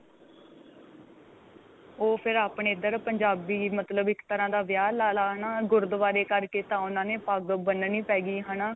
ਉਹ ਫ਼ਿਰ ਆਪਣੇ ਇੱਧਰ ਪੰਜਾਬੀ ਮਤਲਬ ਇੱਕ ਤਰ੍ਹਾਂ ਦਾ ਵਿਆਹ ਲਾ ਲੈ ਹਨਾ ਗੁਰਦੁਆਰੇ ਕਰਕੇ ਤਾਂ ਉਨ੍ਹਾ ਨੇ ਪੱਗ ਬਣਨੀ ਪੈਗੀ ਹਨਾ